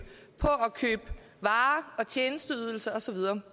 på at købe varer og tjenesteydelser og så videre